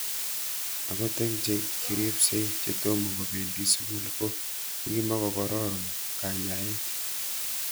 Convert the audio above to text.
Akot eng' che kiripsei che tomo kopendi sukul ko ko kimukokororn kanyaet